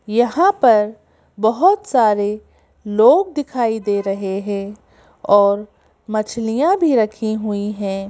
यहां पर बहुत सारे लोग दिखाई दे रहे हैं और मछलियां भी रखी हुई हैं।